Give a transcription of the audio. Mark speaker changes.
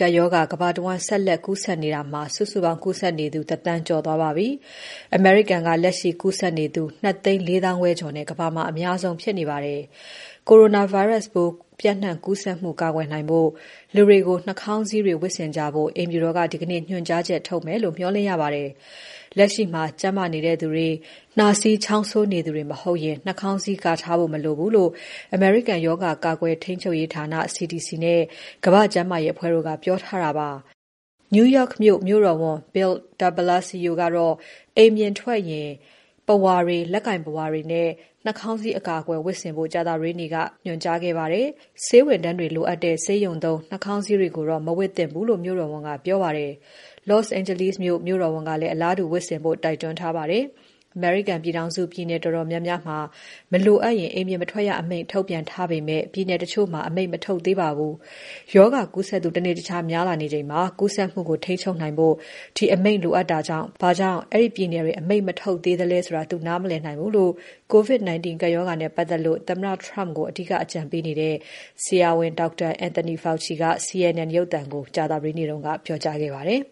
Speaker 1: ကပ်ရောဂါ ကမ္ဘာတဝန်း ဆက်လက်ကူးစက်နေတာမှာ စုစုပေါင်း ကူးစက်နေသူ ၁,၀၀၀,၀၀၀ ကျော်သွားပါပြီ။ အမေရိကန်က လက်ရှိကူးစက်သူ ၂၄၅,၀၀၀ ကျော်နဲ့ ကမ္ဘာမှာ အများဆုံး ဖြစ်နေပါတယ်။ coronavirus ပိုးပျံ့နှံ့ ကူးစက်မှုကာကွယ်နိုင်ဖို့ လူတွေကို နှာခေါင်းစည်းတွေ ဝတ်ဆင်ကြဖို့ အိမ်ဖြူတော်က ဒီကနေ့ ညွှန်ကြားချက်ထုတ်မယ်လို့ မျှော်လင့်ရပါတယ်။ လက်ရှိမှာ ကျန်းမာနေသူတွေ၊ နှာစေးချောင်းဆိုးနေသူတွေ မဟုတ်ရင် နှာခေါင်းစည်း ကာထားဖို့ မလိုဘူးလို့ အမေရိကန်ရောဂါကာကွယ်ရေးဌာန CDC နဲ့ ကမ္ဘာ့ကျန်းမာရေးအဖွဲ့တို့ကပြောထားတာပါ။ New York မြို့ မြို့တော်ဝန်ကတော့ Bill de Blasio အိမ်ပြင်ထွက်ရင် ပုဝါတွေ၊ လက်ကိုင်ပုဝါတွေနဲ့ နှာခေါင်းစည်း အကာအကွယ်ဝတ်ဆင်ဖို့ ကြာသပတေးနေ့က အကြံပြုခဲ့ပါတယ်။ ဆေးဝန်ထမ်းတွေ လိုအပ်တဲ့ ဆေးရုံသုံးနှာခေါင်းစည်းတွေကိုတော့ မဝတ်သင့်ဘူးလို့ မြို့တော်ဝန်ကပြောပါတယ်။ Los Angeles မြို့တော်ဝန်ကလည်း အလားတူဝတ်ဆင်ဖို့ တိုက်တွန်းထားပါတယ်။ အမေရိကန်ပြည်ထောင်စု ပြည်နယ်တော်တော်များများမှာ မလိုအပ်ရင် အိမ်ပြင်မထွက်ရ အမိန့် ထုတ်ပြန်ထားပေမဲ့ ပြည်နယ်တချို့မှာ အမိန့် မထုတ်သေးပါဘူး။ ရောဂါကူးစက်သူ တနေ့တခြား များလာနေချိန်မှာ ကူးစက်မှုကို ထိန်းချုပ်နိုင်ဖို့ ဒီအမိန့်လိုအပ်တာကြောင့် ဘာကြောင့် အဲဒီပြည်နယ်တွေ အမိန့်မထုတ်သေးသလဲ သူနားမလည်နိုင်ဘူးလို့ COVID-19 ကပ်ရောဂါနဲ့ ပတ်သက်လို့ သမ္မတ Trump ကို အဓိက အကြံပေးနေတဲ့ ဆရာဝန် ဒေါက်တာ Anthony Fauci က CNN ရုပ်သံကို ကြာသပတေးနေ့က ပြောကြားခဲ့ပါတယ်